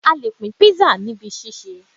A lè pín kpisa níbi ṣíṣe